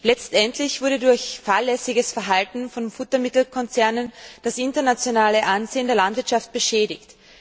Letztendlich wurde durch fahrlässiges Verhalten von Futtermittelkonzernen das internationale Ansehen der Landwirtschaft beschädigt.